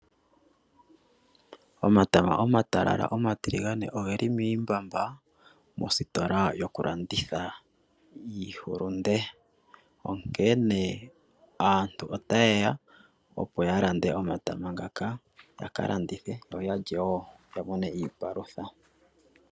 Omatama omatalala omatiligane oge li miimbamba mositola yokulanditha iihulunde. Onkene aantu otaye ya, opo ya lande omatama ngaka ya ka landithe yo ya lye wo ya mone iipalutha.